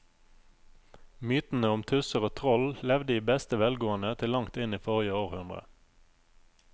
Mytene om tusser og troll levde i beste velgående til langt inn i forrige århundre.